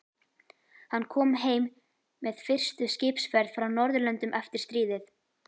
Hann kom heim með fyrstu skipsferð frá Norðurlöndum eftir stríðið.